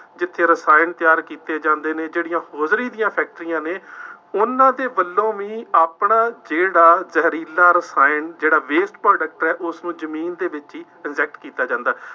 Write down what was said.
ਜਿੱਥੇ ਰਸਾਇਣ ਤਿਆਰ ਕੀਤੇ ਜਾਂਦੇ ਨੇ, ਜਿਹੜੀਆਂ ਹੌਜ਼ਰੀ ਦੀਆਂ ਫੈਕਟਰੀਆਂ ਨੇ, ਉਹਨਾ ਦੇ ਵੱਲੋਂ ਵੀ ਆਪਣਾ ਜਿਹੜਾ ਜ਼ਹਿਰੀਲਾ ਰਸਾਇਣ, ਜਿਹੜਾ waste product ਹੈ, ਉਸਨੂੰ ਜ਼ਮੀਨ ਦੇ ਵਿੱਚ ਹੀ inject ਕੀਤਾ ਜਾਂਦਾ ਹੈ।